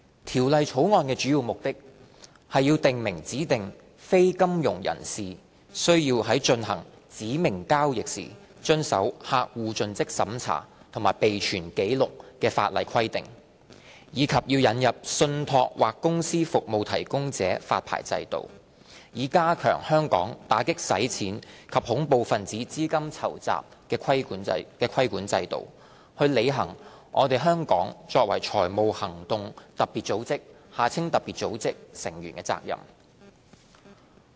《條例草案》的主要目的，是訂明指定非金融業人士須在進行指明交易時遵守客戶盡職審查及備存紀錄的法例規定，以及引入信託或公司服務提供者發牌制度，以加強香港打擊洗錢及恐怖分子資金籌集的規管制度，履行香港作為財務行動特別組織成員的責任。